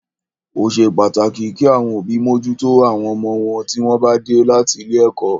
Ó ṣe pàtàkì kí àwọn òbí mójútó àwọn ọmọ wọn tí wọ́n bá dé láti ilé ẹ̀kọ́.